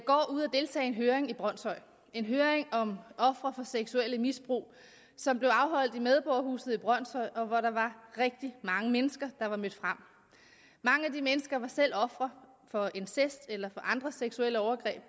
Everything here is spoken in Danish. deltage i en høring i brønshøj en høring om ofre for seksuelt misbrug som blev afholdt i medborgerhuset i brønshøj og hvor der var rigtig mange mennesker mødt frem mange af de mennesker var selv ofre for incest eller andre seksuelle overgreb